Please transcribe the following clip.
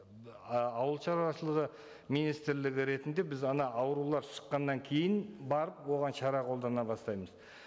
ауылшаруашылығы министрлігі ретінде біз ана аурулар шыққаннан кейін барып оған шара қолдана бастаймыз